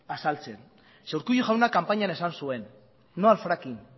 azaltzen ze urkullu jaunak kanpainian esan zuen no al fracking